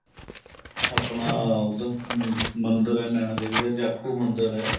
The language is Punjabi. ਆਪਣਾ ਉਹਦਾ ਅਹ ਮੰਦਿਰ ਹੈ ਨੈਣਾ ਦੇਵੀ ਦਾ ਜਾਖੂ ਮੰਦਿਰ ਹੈ